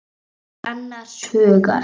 Ég er annars hugar.